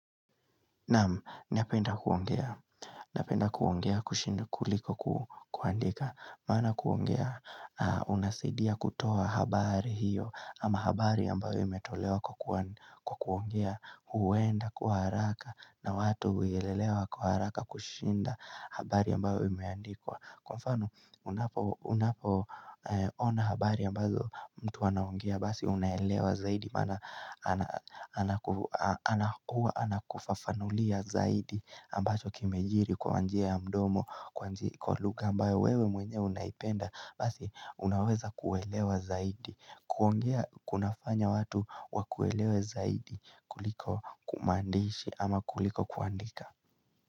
Napenda kuongea kushinda kuliko kuandika Maana kuongea unasidia kutoa habari hiyo ama habari ambayo imetolewa kwa kuongea huenda kuwa haraka na watu huyelelewa kwa haraka kushinda habari ambayo imeandikwa Kufanu unapo ona habari ambazo mtu anaongea basi unaelewa zaidi mana anakuwa anakufafanulia zaidi ambacho kimejiri kwa njia ya mdomo, kwa lugha ambayo wewe mwenyewe unaipenda basi unaweza kuelewa zaidi kuongea kunafanya watu wakuelewe zaidi kuliko kumandishi ama kuliko kuandika.